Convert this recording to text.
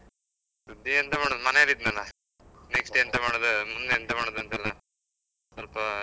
ಸುದ್ದಿಗೆಂತ ಮಾಡೋದ್ ಮನೆಲ್ ಇದ್ನಲ್ಲ, next ಎಂತ ಮಾಡುದ್ ಮುಂದೆ ಎಂತ ಮಾಡುದ್ ಅಂತೆಲ್ಲ ಸ್ವಲ್ಪಾ ಆ.